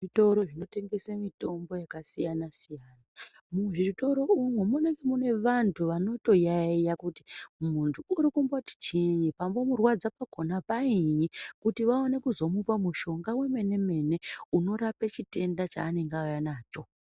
Zvitoro zvinotengesa mitombo yakasiyana siyana, muzvitoro umu muengenge muine vanhu wanotoyayiya kuti muntu uri kumboti chiinyi pambomurwadza pakona painyi kuti vaone kuzomupa mushonga wemene mene wekurape chitenda chaanenge auya nacho.